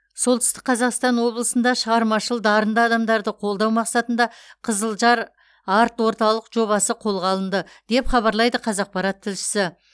солтүстік қазақстан облысында шығармашыл дарынды адамдарды қолдау мақсатында қызылжар арт орталық жобасы қолға алынды деп хабарлайды қазақпарат тілшісі